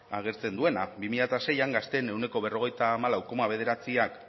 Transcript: agertzen duena bi mila seian gazteen ehuneko berrogeita hamalau koma bederatziak